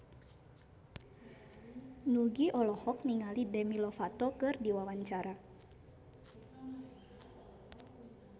Nugie olohok ningali Demi Lovato keur diwawancara